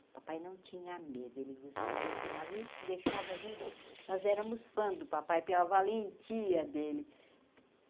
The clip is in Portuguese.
O papai não tinha medo, ele, pegava isso, deixava a gente... Nós éramos fãs do papai, pela valentia dele.